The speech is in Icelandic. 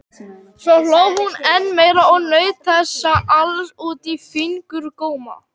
Svo hló hún enn meira og naut þessa alls út í fingurgóma.